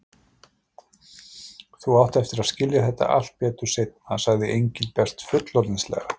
Þú átt eftir að skilja þetta allt betur seinna, sagði Engilbert fullorðinslega.